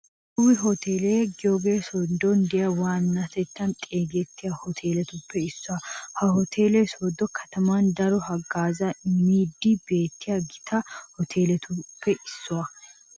Lewi hoteliya giyogee sodon diya waannatettan xeegettiya hoteletuppe issuwa. Ha hotele sooddo kataman daro haggaazzaa immiidi beettiya Gita hoteletuppe issuwa.